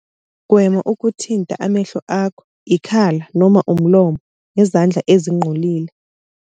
.gwema ukuthinta amehlo akho, ikhala noma umlomo ngezandla ezingcolile.